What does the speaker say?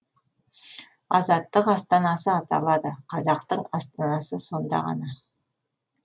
азаттық астанасы аталады қазақтың астанасы сонда ғана